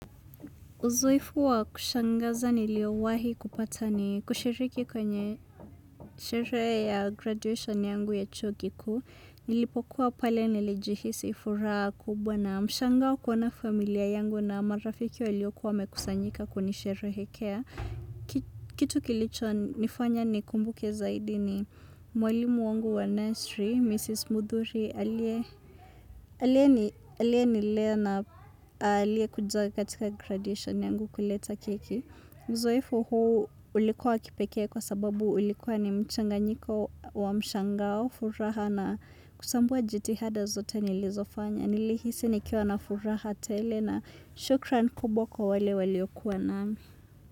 Uzoefu wa kushangaza nilio wahi kupata ni kushiriki kwenye sherehe ya graduation yangu ya chuokikuu. Nilipokuwa pale nilijihisi furaha kubwa na mshangao kuona familia yangu na marafiki waliokuwa wamekusanyika kunisherehekea. Kitu kilicho nifanya ni kumbuke zaidi ni mwalimu wangu wa nursery, Mrs. Mudhuri, aliye nilea na aliye kuja katika graduation yangu. Kuleta keki. Uzoefu huu ulikuwa wa kipekee kwa sababu ulikuwa ni mchanga nyiko wa mshangao, furaha na kusambua jiti hada zote nilizofanya nili hisi nikiwa na furaha tele na shukran kubwa kwa wale waliokuwa nami.